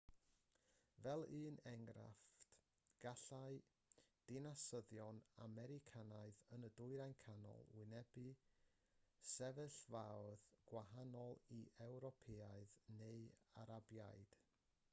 fel un enghraifft gallai dinasyddion americanaidd yn y dwyrain canol wynebu sefyllfaoedd gwahanol i ewropeaid neu arabiaid